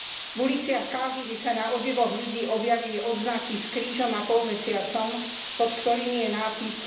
V uliciach Káhiry sa na odevoch ľudí objavili odznaky s krížom a polmesiacom, pod ktorými je nápis